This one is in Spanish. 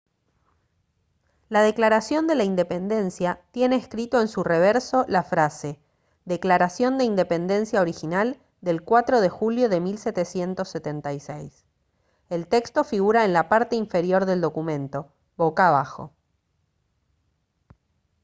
la declaración de la independencia tiene escrito en su reverso la frase «declaración de independencia original del 4 de julio de 1776». el texto figura en la parte inferior del documento boca abajo